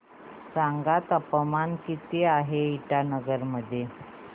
सांगा तापमान किती आहे इटानगर मध्ये